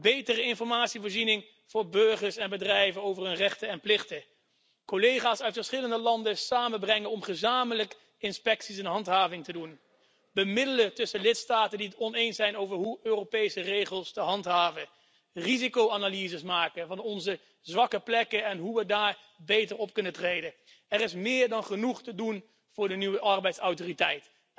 Betere informatievoorziening voor burgers en bedrijven over hun rechten en plichten, collega's uit verschillende landen samenbrengen om gezamenlijk inspecties en handhaving te realiseren, bemiddelen tussen lidstaten die het oneens zijn over hoe Europese regels te handhaven, risicoanalyses maken van onze zwakke plekken en hoe we daar beter op kunnen treden er is meer dan genoeg te doen voor de nieuwe arbeidsautoriteit.